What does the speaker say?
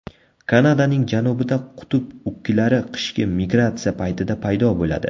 Kanadaning janubida qutb ukkilari qishki migratsiya paytida paydo bo‘ladi.